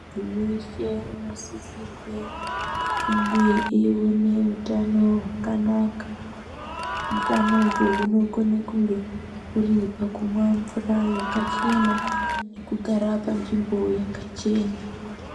Muntu weshe unosisirwe kunge eione utano hwakanaka. Utano uhu hunokone kunge huri pakumwa mvura yakachena nekugara panzvimbo yakachena.